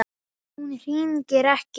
En hún hringir ekki.